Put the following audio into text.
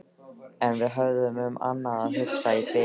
En við höfðum um annað að hugsa í bili.